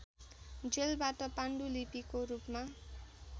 जेलबाट पाण्डुलिपिको रूपमा